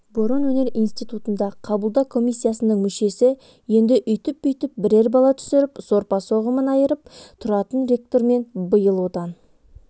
бұрын өнер институтында қабылдау комиссиясының мүшесі еді өйтіп-бүйтіп бірер бала түсіріп сорпа-соғымын айырып тұратын ректормен биыл одан